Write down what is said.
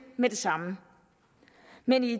med det samme men i